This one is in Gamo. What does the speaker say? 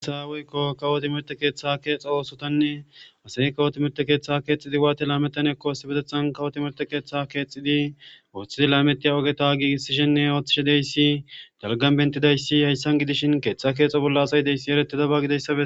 Gasaaweykko kawoti merte keeththa keexa oosotanne asai kawoti merte keeththe keexidi waati laametan ekkoosibedethan kawoti merte keeththa keexidi ooththidi lametiya ogeta giigisishenne ooththishedeyssi dalgan bentidayssi hayssan gidishin keeththa keexo bolla asay deyssi ereti dabagidessabe